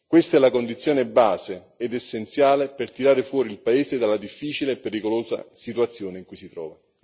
Questa è la condizione di base ed essenziale per tirare fuori il paese dalla difficile e pericolosa situazione in cui si trova.